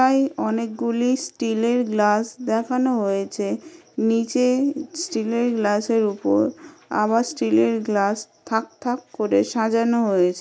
তাই অনেকগুলি স্টিল -এর গ্লাস দেখানো হয়েছে। নিচে স্টিল -এর গ্লাস -এর উপর আবার স্টিল -এর গ্লাস থাক থাক করে সাজানো হয়েছ--